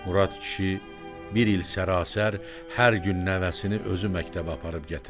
Murad kişi bir il sərasər hər gün nəvəsini özü məktəbə aparıb gətirdi.